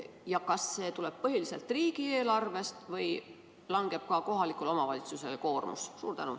Ja kas see tuleb põhiliselt riigieelarvest või langeb ka kohalikule omavalitsusele mingi koormus?